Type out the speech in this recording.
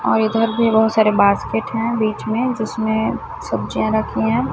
और इधर भी बहुत सारे बास्केट हैं बीच में जिसमें सब्जियां रखी हैं।